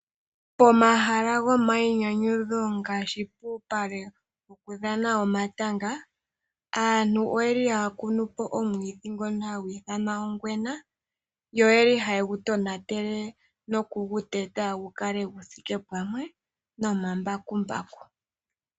Omahala gomainyanyudho ngaashi puupale wokudhana omatanga. Aantu oye li haya kunupo omwiidhi ngoka hagu ithanwa ongwena. Ohagu sile oshimpwiyu mokuguteta gukale guthike pamwe nohaya longitha nduno omambakumbaku.